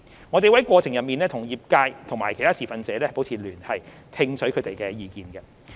我們會在過程中與業界和其他持份者保持聯繫，聽取他們的意見。